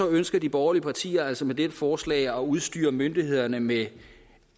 ønsker de borgerlige partier altså med dette forslag at udstyre myndighederne med